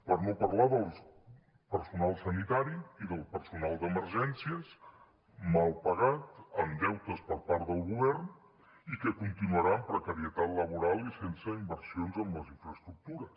per no parlar del personal sanitari i del personal d’emergències mal pagat amb deutes per part del govern i que continuarà amb precarietat laboral i sense inversions en les infraestructures